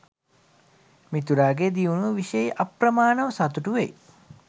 මිතුරාගේ දියුණුව විෂයෙහි අප්‍රමාණව සතුටු වෙයි.